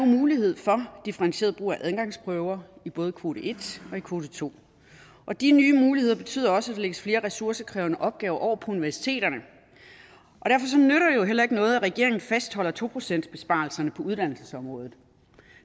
nu mulighed for differentieret brug af adgangsprøver i både kvote en og kvote to og de nye muligheder betyder også at der lægges flere ressourcekrævende opgaver over på universiteterne og heller ikke noget at regeringen fastholder to procentsbesparelserne på uddannelsesområdet